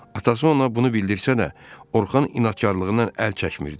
Atası ona bunu bildirsə də, Orxan inadkarlığından əl çəkmirdi.